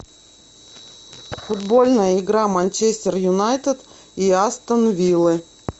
футбольная игра манчестер юнайтед и астон виллы